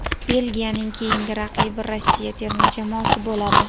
Belgiyaning keyingi raqibi Rossiya terma jamoasi bo‘ladi.